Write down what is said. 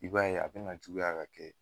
I b'a ye a be na juguya ka kɛ